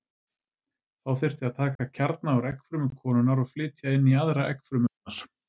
Þá þyrfti að taka kjarna úr eggfrumu konunnar og flytja inn í aðra eggfrumu hennar.